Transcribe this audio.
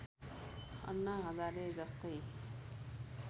अन्ना हजारे जस्तै